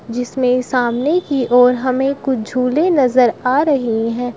जिसमे सामने की ओर हमे कुछ झूले नजर आ रहे है।